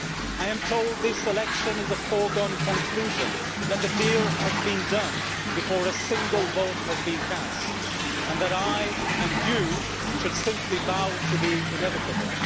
I am told this election is a foregone conclusion, that the deal has been done before a single vote has been cast, and that I and you should simply bow to the inevitable.